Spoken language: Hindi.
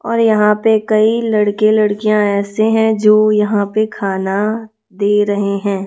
और यहाँ पे कई लड़के-लड़कियाँ ऐसे हैं जो यहाँ पे खाना दे रहे है।